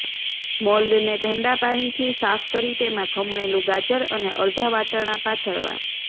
મોલ્ડને ઠંડા પાણીથી સાફ કરી તેમાં ખમણેલું ગાજર અને અડધા વટાણા પાથરવા